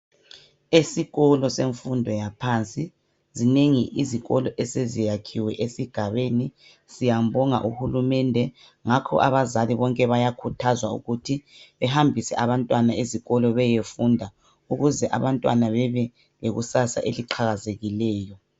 Esikolo semfundo yaphansi. Zinengi izikolo eseziyakhiwe esigabeni siyambonga uhulumende ngakho abazali bonke bayakhuthazwa ukuthi behambise abantwana ezikolo beyefunda ukuze abantwana bebelekusasa eliqhakazekileyo.